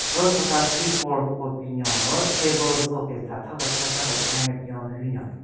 Ro tsüka keyboard ku binyon ro table sogen da tha kecha kecha kechon le bin-o hunyo.